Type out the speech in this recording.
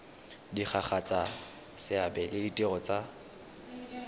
diragatsa seabe le ditiro tsa